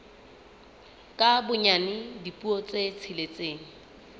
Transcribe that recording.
ka bonyane dipuo tse tsheletseng